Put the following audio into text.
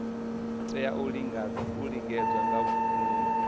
tea u lingedza nga nungo